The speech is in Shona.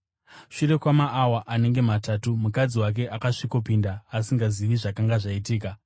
Shure kwamaawa anenge matatu mukadzi wake akasvikopinda, asingazivi zvakanga zvaitika.